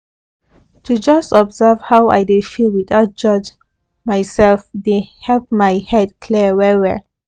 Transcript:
to just observe how i dey feel without judge myself dey help my head clear well well